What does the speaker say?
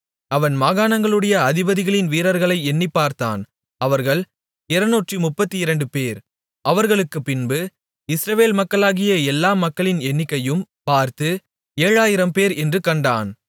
அவன் மாகாணங்களுடைய அதிபதிகளின் வீரர்களை எண்ணிப்பார்த்தான் அவர்கள் 232 பேர் அவர்களுக்குப்பின்பு இஸ்ரவேல் மக்களாகிய எல்லா மக்களின் எண்ணிக்கையும் பார்த்து 7000 பேர் என்று கண்டான்